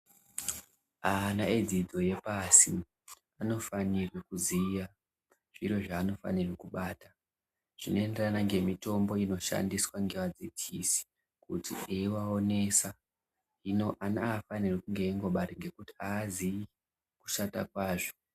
Ana edzidzo yepasi anofanire kuziya zviro zvaanofanire kubata zvinoenderana ngemitombo inoshandiswa ngevadzidzisi kuti veiaonesa ana aafaniri kunge eingobate ngekuti ana aazii kushanda kwazvo.